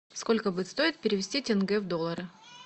сколько будет стоить перевести тенге в доллары